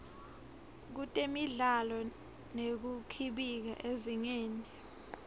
kutemidlalo nekukhibika ezingeni